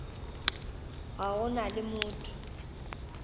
ga go na le motho